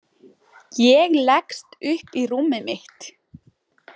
Ég leggst upp í rúmið mitt.